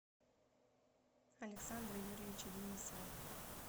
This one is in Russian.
александра юрьевича денисова